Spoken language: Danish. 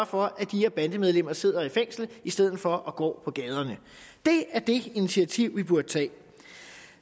for at de her bandemedlemmer sidder i fængsel i stedet for at gå på gaderne det er det initiativ vi burde tage